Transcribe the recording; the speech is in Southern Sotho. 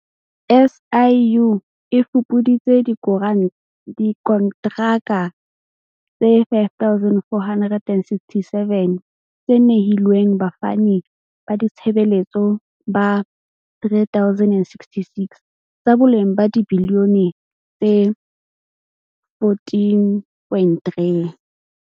SIU e fupuditse dikontraka tse 5 467 tse nehilweng bafani ba ditshebeletso ba 3 066, tsa boleng ba dibiliyone tse 14.3.